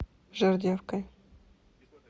жердевкой